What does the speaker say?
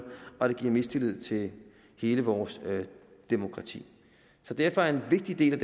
og det giver mistillid til hele vores demokrati derfor er en vigtig del af